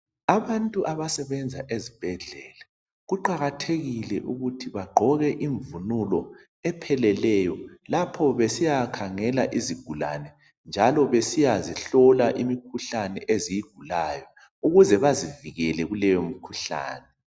Abantu abasebenza ezibhedlela kuqakathekile ukuthi bagqoke imvunulo lapho besiya khangela izigulane njalo besiyahlola imikhuhlane eziyigulayo ukuze bazivikele kuleyo mkhuhlane